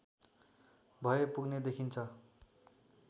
भए पुग्ने देखिन्छ